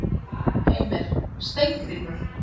Heimir: Steingrímur?